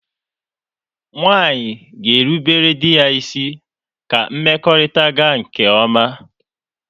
Nwaanyị ga-erubere dị ya isi ka mmekọrịta gaa nke ọma.